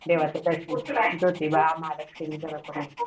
देवाचं दर्शन ज्योतिबा, महालक्ष्मी सर्व करून येतात